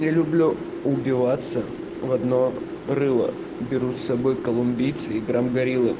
убиваться в одно рыло берут с собой колумбийцы играм